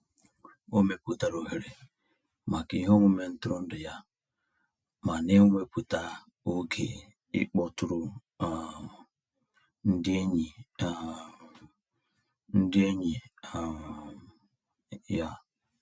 O mepụtara ohere maka iheomume ntụrụndụ ya ma na-ewepụta oge ịkpọtụrụ um ndị enyi um ndị enyi um ya.